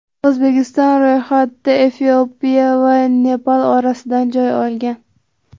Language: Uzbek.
O‘zbekiston ro‘yxatda Efiopiya va Nepal orasidan joy olgan.